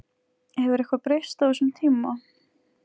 Hefur eitthvað breyst á þessum tíma?